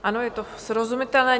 Ano, je to srozumitelné.